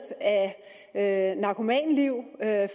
af narkomanliv